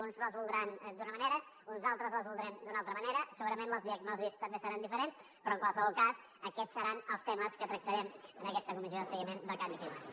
uns les voldran d’una manera uns altres les voldrem d’una altra manera segurament les diagnosis també seran diferents però en qualsevol cas aquests seran els temes que tractarem en aquesta comissió de seguiment del canvi climàtic